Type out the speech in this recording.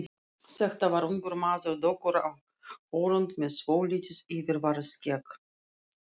Þetta var ungur maður, dökkur á hörund með svolítið yfirvaraskegg.